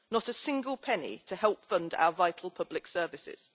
Not a single penny to help fund our vital public services.